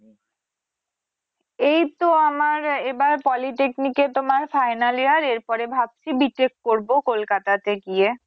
এইতো আমার এবার Polytechnic তোমার final year এর পরে ভাবছি BTech করবো কলকাতাতে গিয়ে।